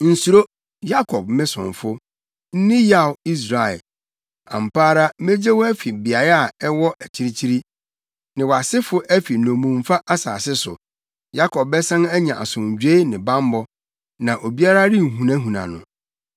“Nsuro, Yakob me somfo; nni yaw, Israel. Ampa ara megye wo afi beae a ɛwɔ akyirikyiri, ne wʼasefo afi wɔn nnommumfa asase so Yakob bɛsan anya asomdwoe ne bammɔ, na obiara renhunahuna no.